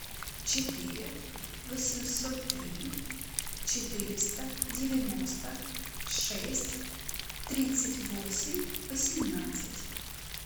четыре восемьсот три четыреста девяносто шесть тридцать восемь восемнадцать